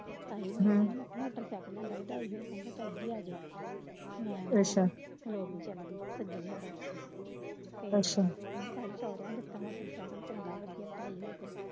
ਝਾਈ motorcycle ਲਿਆਂਦਾ ਵਧਾਈ ਦੇ ਝਾਈ ਜੀ ਇਹ ਦੇਖ ਮੈਂ ਨਾ ਅੱਛਾ ਤੇ ਅੱਛਾ ਮੈਂ ਭਾਈ ਸੋਹਰਿਆਂ ਨੇ ਦਿੱਤਾ